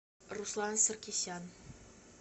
руслан саркисян